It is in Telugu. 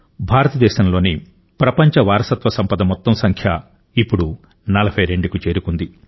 భారతదేశంలోని ప్రపంచ వారసత్వ సంపద మొత్తం సంఖ్య ఇప్పుడు 42 కు చేరుకుంది